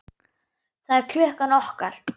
Það er klukkan okkar!